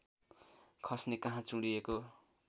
खस्ने कहाँ चुँडिएको